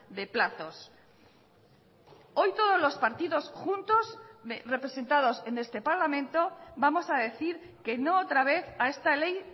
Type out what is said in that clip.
de plazos hoy todos los partidos juntos representados en este parlamento vamos a decir que no otra vez a esta ley